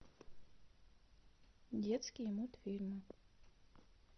детские мультфильмы